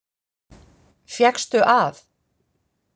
Fékkstu að.